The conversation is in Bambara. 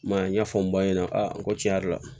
I m'a ye ɲɛfɔ n ba ɲɛna a ko tiɲɛ yɛrɛ la